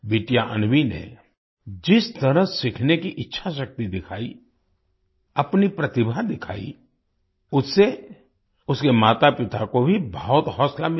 बिटिया अन्वी ने जिस तरह सीखने की इच्छाशक्ति दिखाई अपनी प्रतिभा दिखाई उससे उसके मातापिता को भी बहुत हौसला मिला